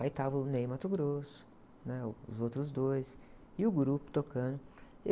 Aí estava o Ney Matogrosso, né? O, os outros dois, e o grupo tocando.